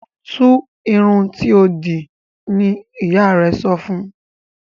Tu irun tíó dì ní ìyá rẹ sọfún!